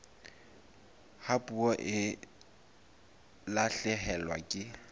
ha puo e lahlehelwa ke